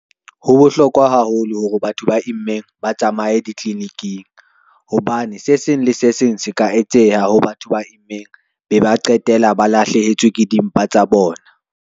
Ho bohlokwa haholo hore batho ba immeng ba tsamaye ditliliniking, hobane se seng le se seng se ka etseha ho batho ba immeng be ba qetela ba lahlehetswe ke dimpa tsa bona.